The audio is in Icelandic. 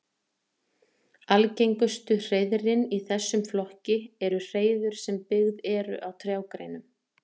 Algengustu hreiðrin í þessum flokki eru hreiður sem byggð eru á trjágreinum.